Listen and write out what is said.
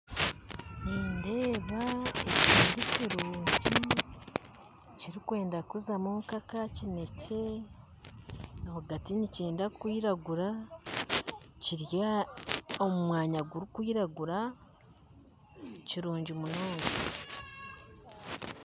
Nindeeba ekiti kirungi kirikwenda kuzamu nk'aka kinekye rwagati nikyenda kwiragura kiri omu mwanya gurikwiragura nikirungi munonga